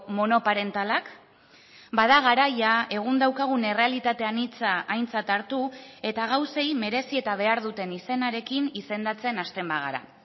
monoparentalak bada garaia egun daukagun errealitate anitza aintzat hartu eta gauzei merezi eta behar duten izenarekin izendatzen hasten bagara